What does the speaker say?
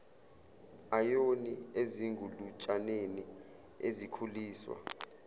ayoni ezingulutshaneni ezikhuliswa